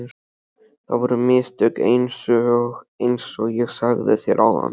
Það voru mistök einsog ég sagði þér áðan.